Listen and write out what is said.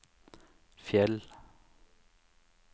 Fjell